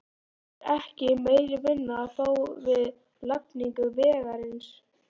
Það er ekki meiri vinnu að fá við lagningu vegarins.